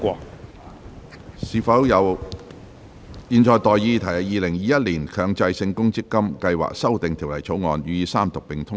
我現在向各位提出的待議議題是：《2021年強制性公積金計劃條例草案》予以三讀並通過。